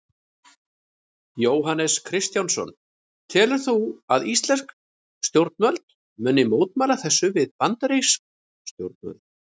Jóhannes Kristjánsson: Telurðu að íslensk stjórnvöld muni mótmæla þessu við bandarísk stjórnvöld?